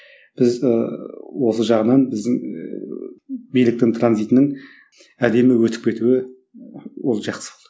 біз ыыы осы жағынан біздің биліктің транзитінің әдемі өтіп кетуі ол жақсы болды